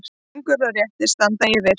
Göngur og réttir standa yfir.